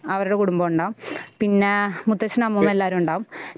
അവരുടെ കുടുംബം ഉണ്ടാവും പിന്നെ മുത്തശ്ശനും അമ്മൂമ്മയും എല്ലാവരും ഉണ്ടാവും